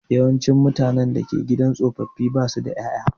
Yawancin mutane da ke gidan tsofaffi ba su da ƴaƴa.